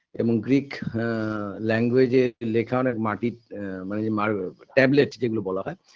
এমন গ্রীক আ language -এ লেখা অনেক মাটির আ মানে যে মার tablet যেগুলো বলা হয়